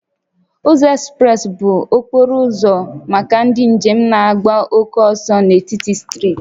Ụzọ ekspresị bụ okporo ụzọ maka ndị njem na-agba oke ọsọ n'etiti steeti